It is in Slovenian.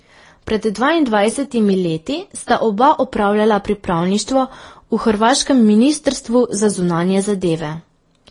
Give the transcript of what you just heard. Pred dvaindvajsetimi leti sta oba opravljala pripravništvo v hrvaškem ministrstvu za zunanje zadeve.